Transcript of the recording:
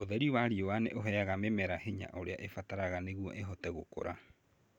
Ũtheri wa riũa nĩ ũheaga mĩmera hinya ũrĩa ĩbataraga nĩguo ĩhote gũkũra